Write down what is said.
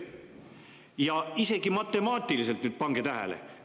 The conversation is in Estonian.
Ja isegi matemaatiliselt, pange tähele,.